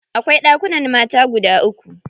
Akwai ɗakunan mata guda uku.